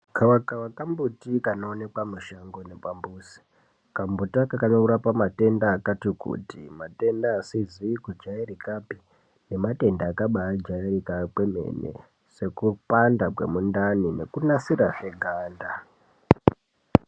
Gava kava kambuti kanoonekwa mushango nepambuzi kambuti aka kanorapa matenda akati kuti matenda asizi kujairikapi nematenda akabajairika kwemene sekupanda kwemundani nekunasira zveganda.